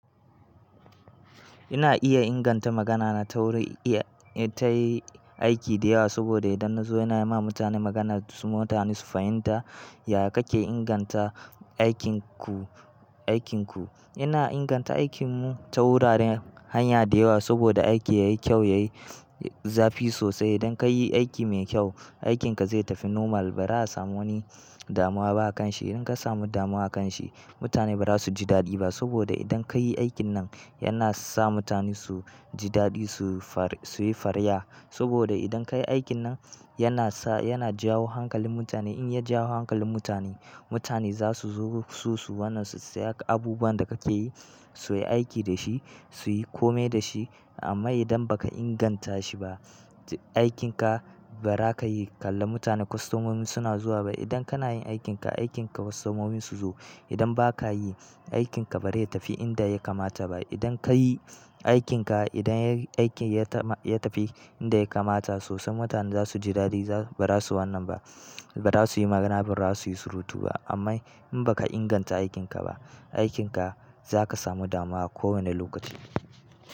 Ina iya inganta magana na ta wurin, in ta yi aiki da yawa saboda idan na zo ina yi ma mutane magana su mutane su fahimta, ya kake inganta aikinku, aikinku. Ina inganta aikin mu ta wuraren hanya da yawa saboda aiki yayi kyau, yayi zafi sosai. Idan ka yi aiki mai kyau, aikinka zai tafi normal ba za a samu wani damuwa ba a kan shi. Idan ka samu damuwa a kan shi, mutane ba za su ji daɗi ba saboda idan ka yi aikin nan yana sa mutane su ji daɗi suyi fariya. Saboda idan ka yi aikin nan yana sa, yana jawo hankalin mutane. In ya jawo hankalin mutane, mutane za su zo su wannan su siya abubuwan da kake yi suyi aiki da shi, suyi komai da shi. Amma idan baka inganta shi ba, aikinka ba za ka yi kalla mutane kostomomin suna zuwa ba. Idan kana yin aikinka, aikinka kostomomin su zo. Idan ba ka yi, aikinka ba zai tafi inda ya kamata ba. Idan ka yi aikinka, idan aiki ya tafi inda ya kamata sosai mutane za su ji daɗi. Ba za su wannan ba, ba za su yi magana ba, ba za su yi surutu ba. Amma in baka inganta aikinka ba, aikinka za ka samu damuwa a kowani lokaci.